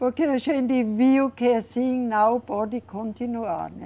Porque a gente viu que assim não pode continuar, né?